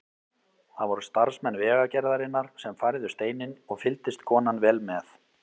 Það voru starfsmenn Vegagerðarinnar sem færðu steininn og fylgdist konan vel með.